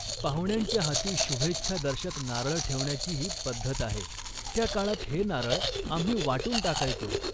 पाहुण्यांच्या हाती शुभेच्छा दर्शक नारळ ठेवण्याचीही पद्धत आहे. त्या काळात हे नारळ आम्ही वाटून टाकायचो